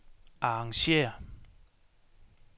arrangér